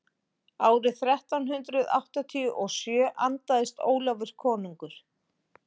árið þrettán hundrað áttatíu og sjö andaðist ólafur konungur